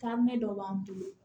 Taaminɛ dɔ b'an bolo